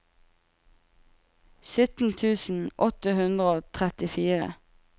sytten tusen åtte hundre og trettifire